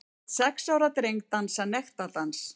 Lét sex ára dreng dansa nektardans